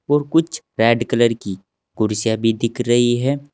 और कुछ red colour की कुर्सियां भी दिख रही है।